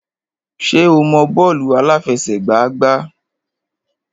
Ṣé o mọ bọ́ọ̀lù àláfẹsẹ̀gbá gbá?